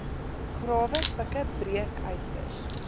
grawe pikke breekysters